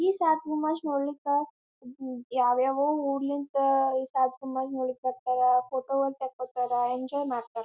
ಈ ಸಾತ್ ನಮಾಜ್ ನೋಡ್ಲಿಕ್ ಯಾವ್ ಯಾವ್ ಉರಲಿಂದ್ ಈ ಸಾತ್ ನಮಾಜ್ ನೋಡ್ಲಿಕ್ ಫೋಟೋ ಒಂದ್ ತಕೋತ್ತರ್ ಎಂಜೋಯ್ ಮಾಡತ್ತರ್.